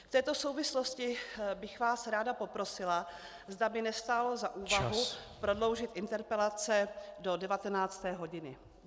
V této souvislosti bych vás ráda poprosila, zda by nestálo za úvahu prodloužit interpelace do 19. hodiny.